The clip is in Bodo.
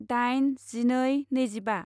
दाइन जिनै नैजिबा